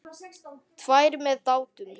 Tvær með Dátum.